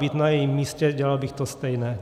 Být na jejím místě, dělal bych to stejné.